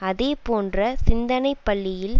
அதேபோன்ற சிந்தனை பள்ளியில்